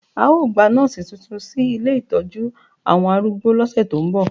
A ó gba nọ́ọ̀sì tuntun sí ilé ìtọ́jú àwọn arúgbó lọ́sẹ̀ tó ń bọ̀